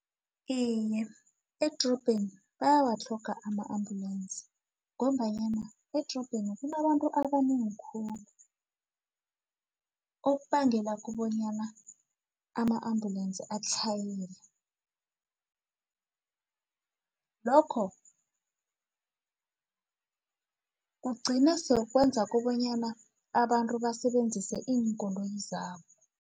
Iye, edrobheni bayawatlhoga ama-ambulensi ngombanyana edrobheni kunabantu abanengi khulu okubangela kubonyana ama-ambulensi atlhayele lokho kugcine sokwenza kobanyana abantu basebenzise iinkoloyi zabo.